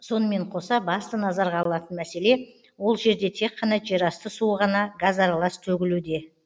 сонымен қоса басты назарға алатын мәселе ол жерде тек қана жерасты суы ғана газаралас төгілуде